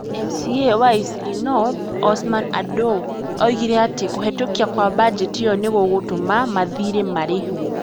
MCA wa Eastleigh North, Osman Adow, oigire atĩ kũhetũkio kwa bajeti ĩyo nĩ gũgũtũma mathiirĩ marĩhwo.